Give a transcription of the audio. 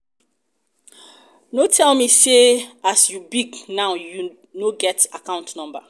no tell me say as you big um now you no get account number.